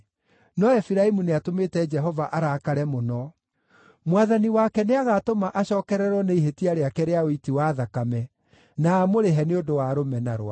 No Efiraimu nĩatũmĩte Jehova arakare mũno. Mwathani wake nĩagatũma acookererwo nĩ ihĩtia rĩake rĩa ũiti wa thakame, na amũrĩhe nĩ ũndũ wa rũmena rwake.